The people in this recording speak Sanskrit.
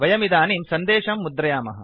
वयमिदानीं सन्देशं मुद्रयामः